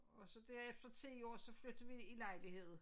Og så der efter 10 år så flyttede vi i lejlighed